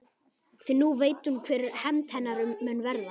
Því nú veit hún hver hefnd hennar mun verða.